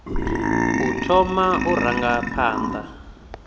u thoma u ranga phanḓa